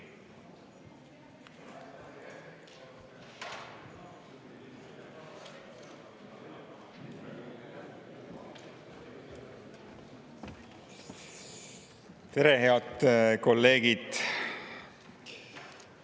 Tere, head kolleegid!